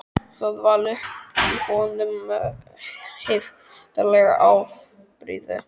Það vall upp í honum heiftarleg afbrýði